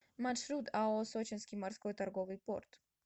маршрут ао сочинский морской торговый порт